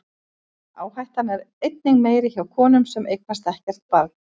Áhættan er einnig meiri hjá konum sem eignast ekkert barn.